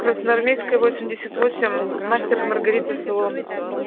красноармейская восемьдесят восемь мастер и маргарита салон